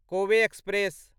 Kove express